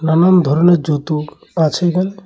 নানান ধরনের জুতো আছে এখানে।